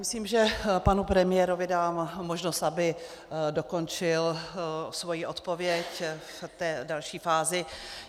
Myslím, že panu premiérovi dám možnost, aby dokončil svoji odpověď o té další fázi.